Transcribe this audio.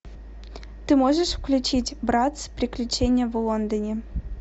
ты можешь включить братц приключения в лондоне